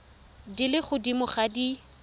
di le godimo ga di